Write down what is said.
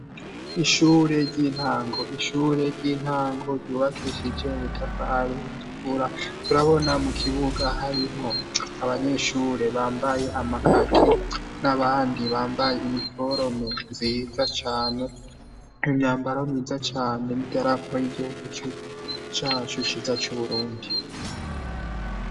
Ishure ry'intango ishure ry'intango ryubakishije ubutafari butukura turabona mu kibuga harimwo abanyeshure bambaye amakaki n'abandi bambaye iniforome nziza cane imyambaro myiza cane n'idarapo ry'igihugu cacu ciza c'Uburundi.